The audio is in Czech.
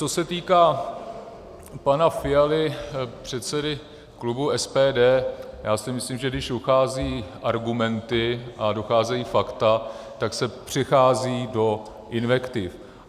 Co se týká pana Fialy, předsedy klubu SPD, já si myslím, že když docházejí argumenty a docházejí fakta, tak se přechází do invektiv.